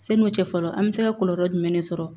Sani u cɛ fɔlɔ an bɛ se ka kɔlɔlɔ jumɛn de sɔrɔ